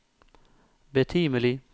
betimelig